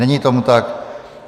Není tomu tak.